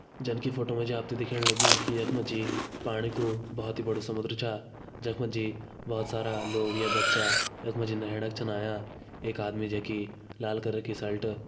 जन की फोटो मा च आपथे दिख्येण लग्युं की यख मा जी पाणी को बहोत ही बड़ो समुद्र चा जखमा जे बहोत सारा लोग या बच्चा यखमा छिन नहेणा छन आया एक आदमी जैकी लाल कलर शर्ट --